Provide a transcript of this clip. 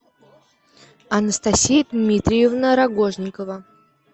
анастасия дмитриевна рогожникова